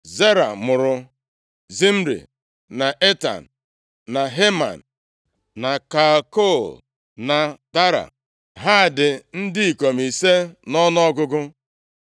Zera mụrụ: Zimri, na Etan, na Heman, na Kalkol, na Dara. Ha dị ndị ikom ise nʼọnụọgụgụ.